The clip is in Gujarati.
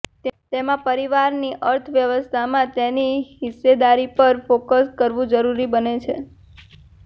તેમાં પરિવારની અર્થવ્યવસ્થામાં તેની હિસ્સેદારી પર ફોકસ કરવું જરૂરી બને છે